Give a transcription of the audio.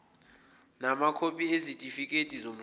namakhophi ezitifikedi zomshado